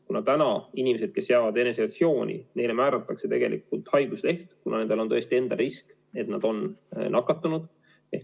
Praegu määratakse inimestele, kes jäävad eneseisolatsiooni, haigusleht, kuna nendel on tõesti risk, et nad on nakatunud.